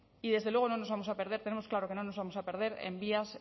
y desde luego no nos vamos a perder tenemos claro que no nos vamos a perder en vías